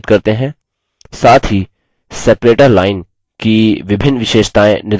साथ ही separator line विभाजक रेखा की विभिन्न विशेषतायें निर्धारित करते हैं